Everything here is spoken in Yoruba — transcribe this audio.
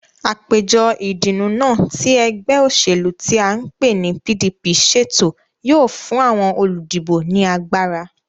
Àpéjọ ìdùnnú náà tí ẹgbẹ́ òṣèlú tí à ń pè ní PDP ṣètò yóò fún àwọn olùdìbò ní agbára